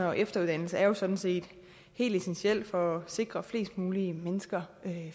og efteruddannelse er jo sådan set helt essentielt for at sikre flest mulige mennesker